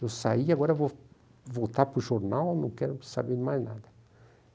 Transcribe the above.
Eu saí, agora vou voltar para o jornal, não quero saber mais nada.